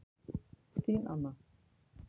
Þín Anna